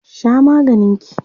Sha maganin ki!